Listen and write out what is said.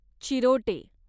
चिरोटे